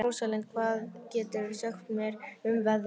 Róslinda, hvað geturðu sagt mér um veðrið?